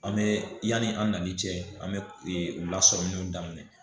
An bɛ yanni an nanni cɛ an bɛ u lasɔrɔliw daminɛ